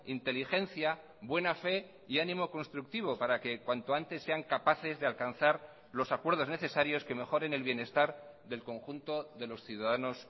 inteligencia buena fe y ánimo constructivo para que cuanto antes sean capaces de alcanzar los acuerdos necesarios que mejoren el bienestar del conjunto de los ciudadanos